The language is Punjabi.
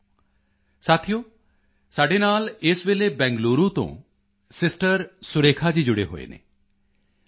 ਸਾਥੀਓ ਸਾਡੇ ਨਾਲ ਇਸ ਵੇਲੇ ਬੈਂਗਲੁਰੂ ਤੋਂ ਸਿਸਟਰ ਸੁਰੇਖਾ ਜੀ ਜੁੜੇ ਹੋਏ ਹਨ ਸੁਰੇਖਾ ਜੀ k